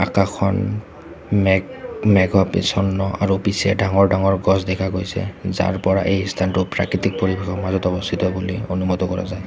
আকাশখন মেঘ মেঘ আৰু পিছে ডাঙৰ-ডাঙৰ গছ দেখা গৈছে যাৰ পৰা এই স্থানটো প্ৰাকৃতিক পৰিৱেশৰ মাজত অৱস্থিত বুলি অনুমত কৰা যায়।